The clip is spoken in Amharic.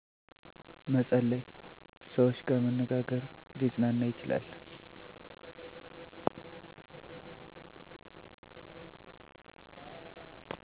መፀለይ ሰውች ጋር መነጋግር ሊፅናና ይችላል